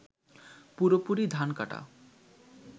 পুরোপুরি ধান কাটা